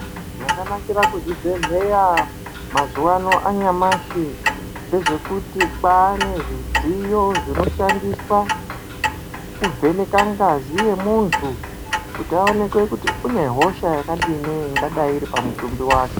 Zvakanakira kuzvibhedhleya mazuvano anyamashi ndezvekuti kwaa nezvidziyo zvinoshandiswaa kuvheneka ngazi yemuntu kuti aoneke kuti une hosha yakadini ingadai iri pamutumbi wake.